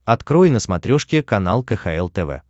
открой на смотрешке канал кхл тв